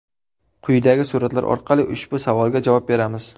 Quyidagi suratlar orqali ushbu savolga javob beramiz.